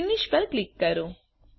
finish પર click કરો